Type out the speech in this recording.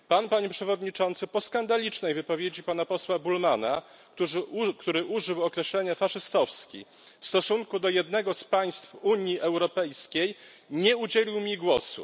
Pan, Panie Przewodniczący, po skandalicznej wypowiedzi pana posła Bullmanna, który użył określenia faszystowski w stosunku do jednego z państw Unii Europejskiej, nie udzielił mi głosu.